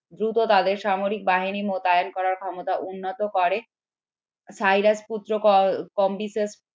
দ্রুত তাদের সামরিক বাহিনী মোতায়েন করার ক্ষমতা উন্নত করে সাইরাসপুত্র